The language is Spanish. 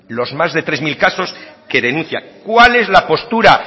los más de tres mil casos que denuncia isiltasuna cuál es la postura